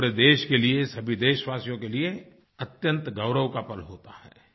ये पूरे देश के लिए सभी देशवासियों के लिए अत्यंत गौरव का पर्व होता है